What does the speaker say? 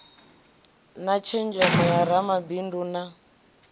na tshenzhemo ya ramabindu na